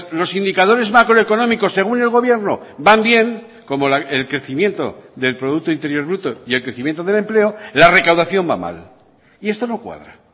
los indicadores macroeconómicos según el gobierno van bien como el crecimiento del producto interior bruto y el crecimiento del empleo la recaudación va mal y esto no cuadra